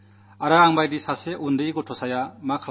എന്നെപ്പോലെ ഒരു ചെറിയ വിദ്യാർഥിക്ക് എന്തു ചെയ്യാനാകും